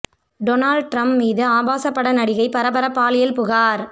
Donald Trump மீது ஆபாசப் பட நடிகை பரபர பாலியல் புகார்